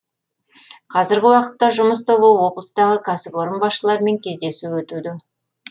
қазіргі уақытта жұмыс тобы облыстағы кәсіпорын басшыларымен кездесу өтуде